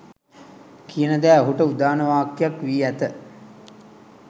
කියන දෑ ඔහුට උදාන වාක්‍යයක් වී ඇත